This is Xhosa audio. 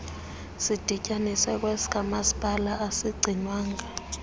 sidityaniswe kwesikamasipala asigcinwanga